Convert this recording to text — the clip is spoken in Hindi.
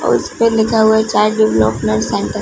उस पे लिखा हुआ हे चाइल्ड डिवेलप्मन्ट सेंटर ।